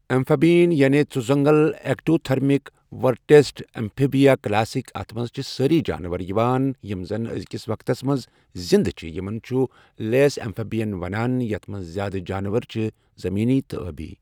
Amphibian یعنے ژُ زنٛگل ایکٹوتھرمِک ورٹبیٹ امفِیبیا کلاسٕکۍ اتھ منٛز چھِ سأری جانور یوان یمہ زنَ أزیکسِ وقتس مَنٛز زندہ چھ، یمن چھ لیس ایمفِبیین ونان یتھ منٛز زیٛادٕ جانور چھ زمینی تہٕ آبی.